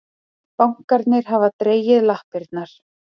Bankarnir hafa dregið lappirnar